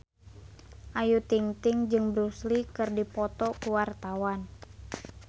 Ayu Ting-ting jeung Bruce Lee keur dipoto ku wartawan